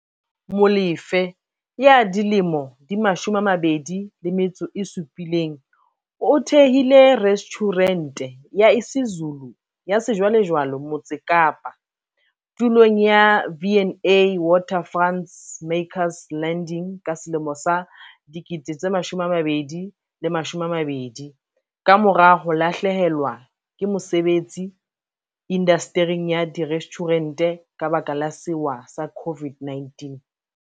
Molefe, 27, o thehile restjhurente ya isiZulu ya sejwalejwale Motse Kapa, tulong ya V and A Waterfront's Makers Landing ka selemo sa 2020, kamora ho lahlehelwa ke mosebetsi indastering ya direstjhurente ka lebaka la sewa sa COVID-19.